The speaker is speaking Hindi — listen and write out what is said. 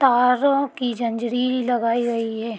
तारो की जन्जरील लगाई गई है।